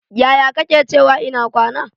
Yaya kake cewa ina kwana?